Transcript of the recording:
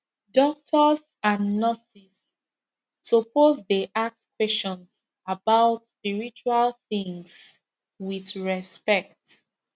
doctors and nurses suppose dey ask questions about spiritual things with respect